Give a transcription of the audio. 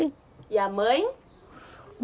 E a mãe?